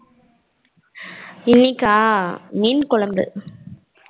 இன்னைக்கா மீன் குழம்பு